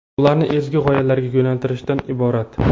ularni ezgu g‘oyalarga yo‘naltirishdan iborat.